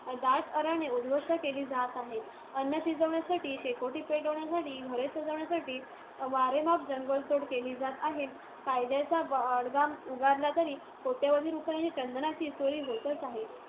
दाट अरण्ये उद्‌ध्वस्त केली जात आहेत. अन्न शिजवण्यासाठी, शेकोटी पेटवण्यासाठी, घरे सजवण्यासाठी वारेमाप जंगलतोड केली जात आहे. कायद्याचा बडगा उगारला तरी कोट्यवधी रुपयांच्या चंदनाची चोरी होतच आहे.